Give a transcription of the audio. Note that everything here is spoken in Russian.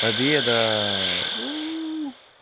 победа уу